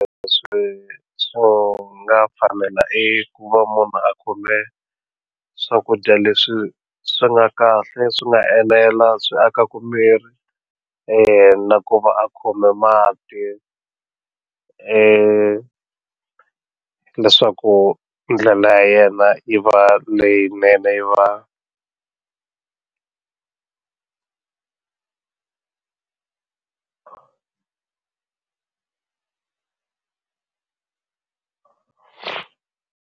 Swi swo nga fanela i ku va munhu a khome swakudya leswi swi nga kahle swi nga enela swi akaku miri ene na ku va a khome mati leswaku ndlela ya yena yi va leyinene yi va.